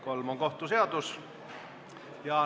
Kolm on kohtu seadus.